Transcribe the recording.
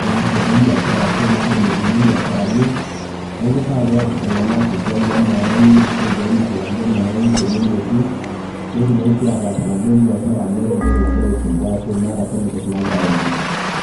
niasie nkulie biashara ashu nabolie nkulie biasharani .